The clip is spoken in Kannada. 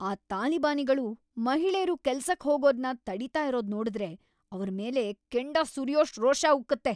ಆ ತಾಲಿಬಾನಿಗಳು ಮಹಿಳೇರು ಕೆಲ್ಸಕ್ ಹೋಗೋದ್ನ ತಡೀತಾ ಇರೋದ್ ನೋಡುದ್ರೆ ಅವ್ರ್ ಮೇಲೆ ಕೆಂಡ ಸುರ್ಯೋಷ್ಟ್ ರೋಷ ಉಕ್ಕುತ್ತೆ.